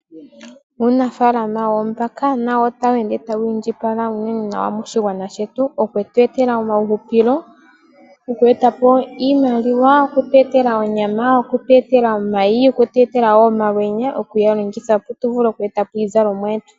Uunafaalama woombaka nawo otawu ende tawu indjipala unene nawa moshigwana shetu, okutu etela omauhupilo, oku etapo iimaliwa, okutu etela onyama, okutu etela omayi, okutu etela woo omalwenya okuga longitha opo tu vule oku etapo iizalomwa yetu